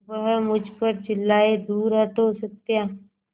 वह मुझ पर चिल्लाए दूर हटो सत्या